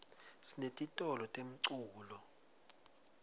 sinetitolo temculo